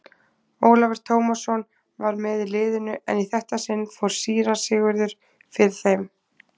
Ólafur Tómasson var með í liðinu en í þetta sinn fór síra Sigurður fyrir þeim.